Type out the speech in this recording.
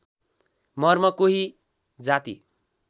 मर्म कोही जाति